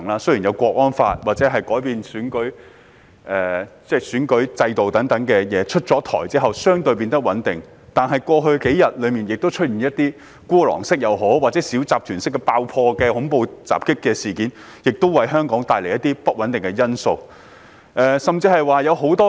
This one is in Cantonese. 雖有《香港國安法》或完善選舉制度等政策出台，情況變得較為穩定，但過去數天曾發生孤狼式或小集團式爆破或恐怖襲擊事件，為香港帶來不穩定因素。